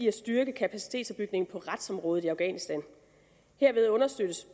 at styrke kapacitetsopbygningen på retsområdet i afghanistan herved understøttes